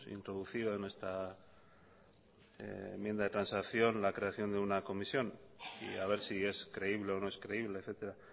introducido en nuestra enmienda de transacción la creación de una comisión y haber si es creíble o no es creíble etcétera